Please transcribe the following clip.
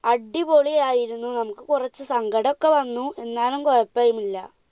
അടിപൊളിയായിരുന്നു, നമുക്ക് കുറച്ച് സങ്കടോക്കെ വന്നു. എന്നാലും കുഴപ്പമില്ല